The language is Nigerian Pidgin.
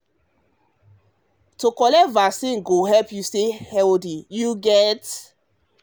to collect vaccine go help you stay healthy you get?